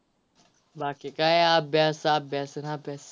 बाकी काय अभ्यास अभ्यास अभ्यास